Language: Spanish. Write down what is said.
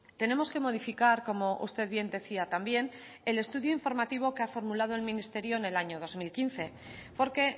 tenemos que modificar como usted bien decía también el estudio informativo que ha formulado el ministerio en el año dos mil quince porque